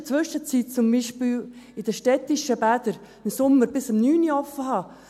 Wir haben in der Zwischenzeit beispielsweise die städtischen Bäder im Sommer bis um 21 Uhr geöffnet.